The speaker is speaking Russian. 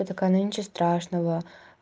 я такая но ничего страшного